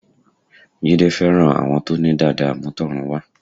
Jídé fẹ́ràn àwọn tó ní dàda àmútọ̀runwá